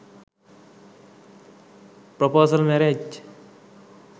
proposal marriage